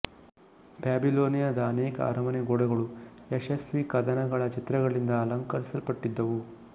ಬ್ಯಾಬಿಲೋನಿಯಾದ ಅನೇಕ ಅರಮನೆ ಗೋಡೆಗಳು ಯಶಸ್ವೀ ಕದನಗಳ ಚಿತ್ರಗಳಿಂದ ಅಲಂಕರಿಸಲ್ಪಟ್ಟಿದ್ದವು